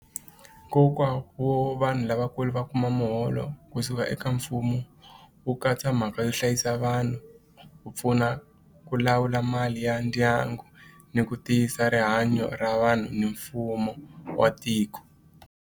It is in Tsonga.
Nkoka wo vanhu lavakulu va kuma muholo kusuka eka mfumo wu katsa mhaka yo hlayisa vanhu ku pfuna ku lawula mali ya ndyangu ni ku tiyisa rihanyo ra vanhu ni mfumo wa tiko.